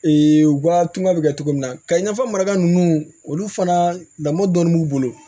u ka tunga bɛ kɛ cogo min na ka i n'a fɔ maraka ninnu olu fana lamɔ dɔɔni b'u bolo